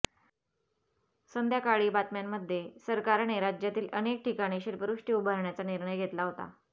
संध्याकाळी बातम्यांमध्ये सरकारने राज्यातील अनेक ठिकाणी शिल्पसृष्टी उभारण्याचा निर्णय घेतला होता